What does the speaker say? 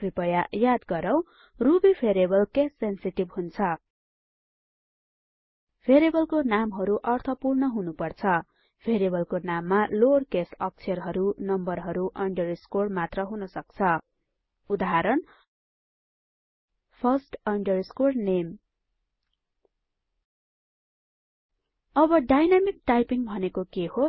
कृपया याद गरौ रुबी भेरिएबल केस सेन्सेटिभ हुन्छ भेरिएबलको नामहरु अर्थपूर्ण हुनुपर्दछ भेरिएबलको नाममा लोअर केस अक्षरहरु नम्बरहरू अंडरस्कोर मात्र हुनसक्छ उदाहरण first name अब डायनामिक टाइपिंग भनेको के हो